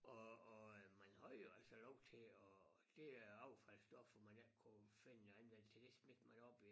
Og og øh man havde jo altså lov til og det øh affaldsstoffer man ikke kunne finde andvendelse til det smed man op i